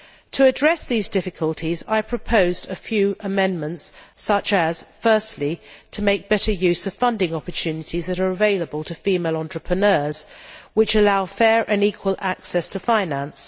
To address these difficulties I proposed a few amendments such as firstly, to make better use of funding opportunities that are available to female entrepreneurs which allow fair and equal access to finance